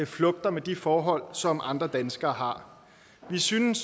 flugter med de forhold som andre danskere har vi synes